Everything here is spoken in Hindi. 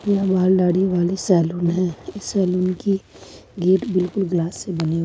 यह बाल दाढ़ी वाले सैलून है इस सैलून की गेट बिल्कुल ग्लास से बनी हुई--